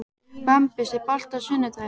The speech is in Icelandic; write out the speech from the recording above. Bambus, er bolti á sunnudaginn?